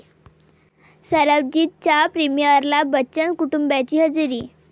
सरबजीत'च्या प्रिमिअरला बच्चन कुटुंबाची हजेरी